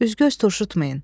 Üzgöz turşutmayın.